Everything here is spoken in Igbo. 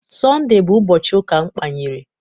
Sọnde bụ ụbọchị ụka mkpanyere